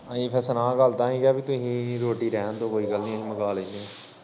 ਅਹੀ ਫੇਰ ਸੁਣਾਉ ਗੱਲ ਤਾਂ ਹੀ ਕਿਹਾ ਤੁਹੀ ਰੋਟੀ ਰੈਣ ਦੋ ਕੋਈ ਗੱਲ ਨੀ ਅਸੀ ਮੰਗਾ ਲੈਨੇ।